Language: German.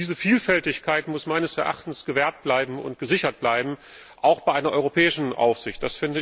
Diese Vielfältigkeit muss meines Erachtens gewahrt und gesichert bleiben, auch bei einer europäischen Aufsicht.